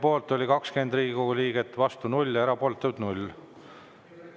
Poolt oli 20 Riigikogu liiget, vastu 0, erapooletuid 0.